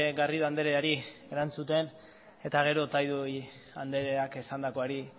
garrido andreari erantzuten eta gero otadui andreak esandakoari